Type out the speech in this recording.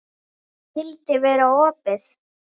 Skyldi vera opið?